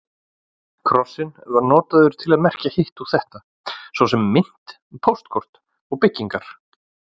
Krossinn var notaður til merkja hitt og þetta, svo sem mynt, póstkort og byggingar.